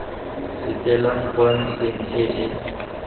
fetelang kwa ntlheng e e